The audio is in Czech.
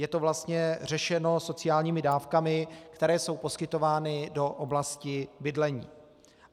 Je to vlastně řešeno sociálními dávkami, které jsou poskytovány do oblasti bydlení.